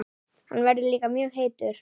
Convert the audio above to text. Hann verður líka mjög heitur.